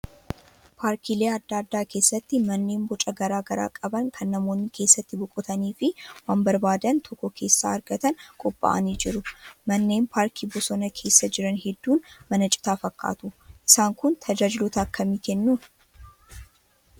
Paarkiilee adda addaa keessatti manneen boca garaagaraa qaban kan namoonni keessatti boqotanii fi waan barbaadan tokko keessaa argatan qophaa'anii jiru. Manneen paarkii bosonaa keessa jiran hedduun mana citaa fakkaatu. Isaan kun tajaajiloota akkamii kennuu?